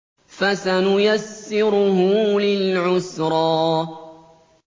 فَسَنُيَسِّرُهُ لِلْعُسْرَىٰ